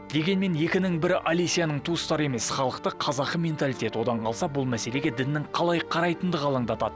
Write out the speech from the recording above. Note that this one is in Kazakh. дегенмен екінің бірі олесяның туыстары емес халықты қазақы менталитет одан қалса бұл мәселеге діннің қалай қарайтындығы алаңдатады